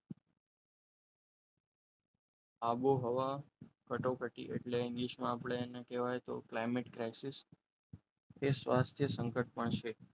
આબોહવા કટોકટી એટલે ઇંગલિશ માં આપણે કહેવાય તો climate સ્વાસ્થ્ય સંકટમાં પણ છે પણ છે